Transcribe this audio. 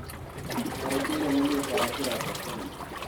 Atharĩkĩirwo nĩ mĩkora kĩroko tene